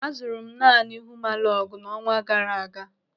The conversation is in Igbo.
Azụrụ m naanị huumalọgụ n'ọnwa gaara aga.